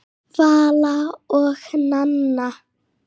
Vala og Nanna.